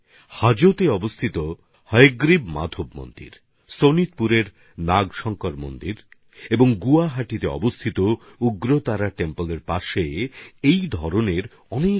হাজোতে হয়াগ্রীব মাধেব মন্দির শোনিতপুরের নাগশংকর মন্দির আর গুয়াহাটির উগ্রতারা মন্দিরের কাছে এই ধরনের অনেকগুলো পুকুর আছে